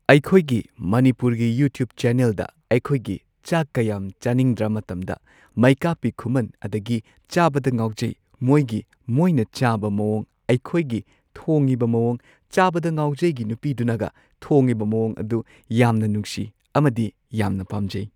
ꯑꯩꯈꯣꯏꯒꯤꯃꯅꯤꯄꯨꯔꯒꯤ YouTube ꯆꯦꯅꯦꯜꯗ ꯑꯩꯈꯣꯏꯒꯤ ꯆꯥꯛꯀ ꯌꯥꯝ ꯆꯥꯅꯤꯡꯗ꯭ꯔ ꯃꯇꯝꯗ ꯃꯩꯀꯥꯞꯄꯤ ꯈꯨꯃꯟ ꯑꯗꯒꯤ ꯆꯥꯕꯗ ꯉꯥꯎꯖꯩ ꯃꯣꯏꯒꯤ ꯃꯣꯏꯅ ꯆꯥꯕ ꯃꯋꯣꯡ ꯑꯩꯈꯣꯏꯒꯤ ꯊꯣꯡꯉꯤꯕ ꯃꯋꯣꯡ ꯆꯥꯕꯗ ꯉꯥꯎꯖꯩꯒꯤ ꯅꯨꯄꯤꯗꯨꯅꯒ ꯊꯣꯡꯉꯤꯕ ꯃꯋꯣꯡ ꯑꯗꯨ ꯌꯥꯝꯅ ꯅꯨꯡꯁꯤ ꯑꯃꯗꯤ ꯌꯥꯝꯅ ꯄꯥꯝꯖꯩ꯫